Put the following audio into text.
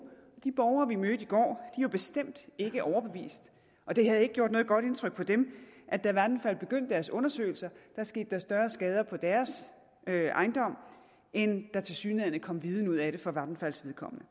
de borgere vi mødte i går var bestemt ikke overbevist og det havde ikke gjort noget godt indtryk på dem at da vattenfall begyndte deres undersøgelser skete der større skader på deres ejendom end der tilsyneladende kom viden ud af det for vattenfalls vedkommende